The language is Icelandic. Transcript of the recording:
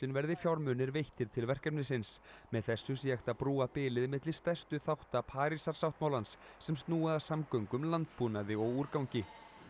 verði fjármunir veittir til verkefnisins með þessu sé hægt að brúa bilið milli stærstu þátta Parísarsáttmálans sem snúi að samgöngum landbúnaði og úrgangi